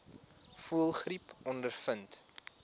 voëlgriep ondervind